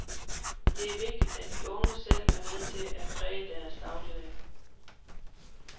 Det er vigtigt, at de unge selv er med til at præge deres dagligdag.